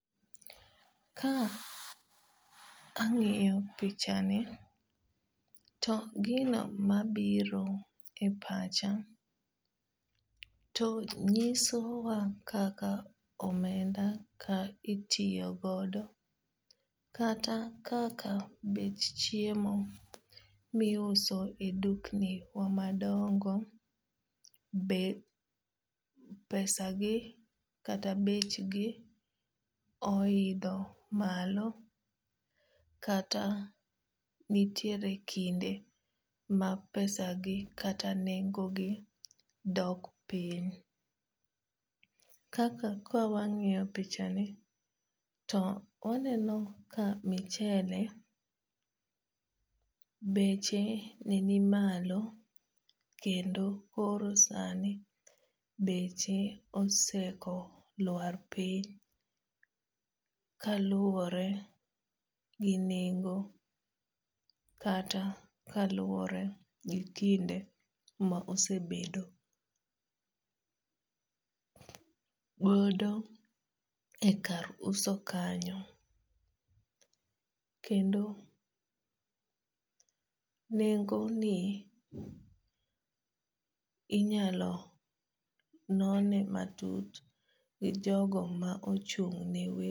Ka ang'iyo pichani to gino mabiro e pacha to nyisowa kaka omenda itiyo godo kata kaka bech chiemo miuso e dukni wa madongo be pesa gi kata bechgi oidho malo kata nitiere kinde ma pesa gi kata nengogi dok piny. Kaka kawang'iyo pichani to waqneno ka michele beche nenimalo kendo koro sani beche oseko lwar piny. Kaluwore gi nengo kata kaluwore gi kinde maosebedogodo e kar uso kanyo kendo nengoni inyalo none matut gi jogo ma ochung' ne wero